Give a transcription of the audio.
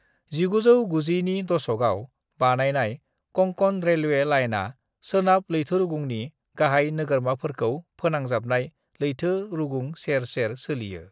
1990 नि दशकआव बानायनाय कंकण रेलवे लाइनआ सोनाब लैथोरुगुंनि गाहाय नोगोरमाफोरखौ फोनांजाबनाय लैथोरुगुं सेर सेर सोलियो।